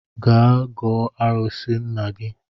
Gaa gọọ arụsị nna gi